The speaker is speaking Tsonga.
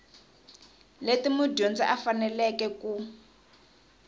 leti mudyondzi a faneleke ku